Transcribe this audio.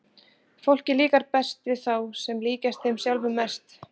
Fólki líkar best við þá sem líkjast þeim sjálfum mest.